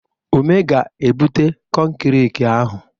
Ume ga-ebute kọnkịrị ahụ.